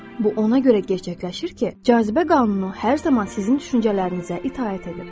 Bu ona görə gerçəkləşir ki, cazibə qanunu hər zaman sizin düşüncələrinizə itaət edir.